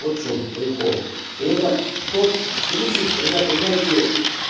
вот в чем прикол и это тот принцип когда понимаете